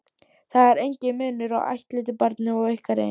Það er enginn munur á ættleiddu barni og ykkar eigin.